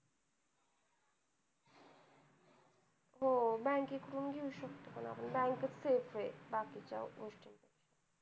हो bank कडून घेऊ शकतो पण bank safe आहे बाकी च्या गोष्टी